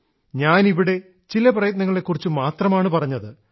ഞാൻ ഇവിടെ ചില പ്രയത്നങ്ങളെക്കുറിച്ചുമാത്രമാണ് പറഞ്ഞത്